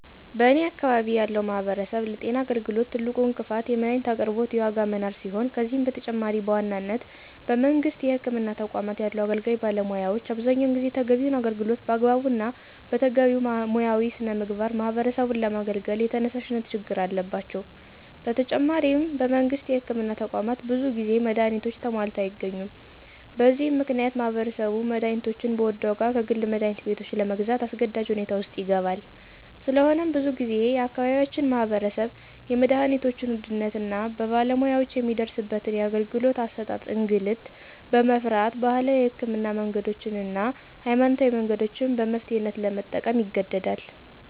በኔ አካባቢ ያለው ማህበረሰብ ለጤና አገልግሎት ትልቁ እንቅፋት የመድሀኒት አቅርቦት የዋጋ መናር ሲሆን ከዚህም በተጨማሪ በዋናነት በመንግስት የህክምና ተቋማት ያሉ አገልጋይ ባለሙያዎች አብዛኛውን ጊዜ ተገቢውን አገልግሎት በአግባቡ እና በተገቢው ሙያዊ ሥነ ምግባር ማህበረሰቡን ለማገልገል የተነሳሽነት ችግር አለባቸው። በተጨማሪም በመንግስት የህክምና ተቋማት ብዙ ጊዜ መድሀኒቶች ተሟልተው አይገኙም። በዚህ ምክንያት ማህበረሰቡ መድሀኒቶችን በውድ ዋጋ ከግል መድሀኒት ቤቶች ለግዛት አስገዳጅ ሁኔታ ውስጥ ይገባል። ስለሆነም ብዙ ጊዜ የአካባቢያችን ማህበረሰብ የመድሀኒቶችን ውድነት እና በባለሙያወችን የሚደርስበትን የአገልግሎት አሠጣጥ እንግልት በመፍራት ባህላዊ የህክምና መንገዶችን እና ሀይማኖታዊ መንገዶችን በመፍትሔነት ለመጠቀም ይገደዳል።